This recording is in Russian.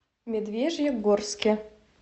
медвежьегорске